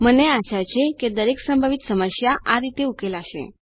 મને આશા છે કે દરેક સંભવિત મૂંઝવણ આ રીતે ઉકેલાશે